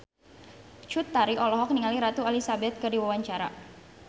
Cut Tari olohok ningali Ratu Elizabeth keur diwawancara